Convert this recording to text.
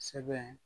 Sɛbɛn